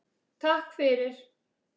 Takk fyrir!